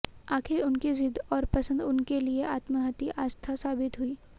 आखिर उनकी जिद और पसंद उनके लिए आत्महंती आस्था साबित हुई